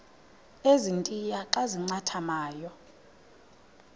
ezintia xa zincathamayo